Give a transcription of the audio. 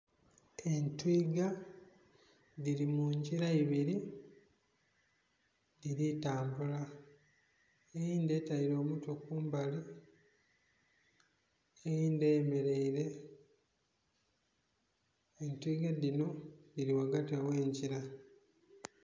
Entwiga dhiri mu ngira ibiri edhiri tambula eyindhi etaire omutwe kumbali, eyindhi eyemereire. Entwiga dhino dhiri ghagati ohhenhira.